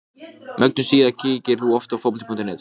sagði Sveinn og reyndi að brosa vingjarnlega.